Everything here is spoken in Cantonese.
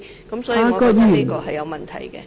所以，我覺得這些言詞很有問題......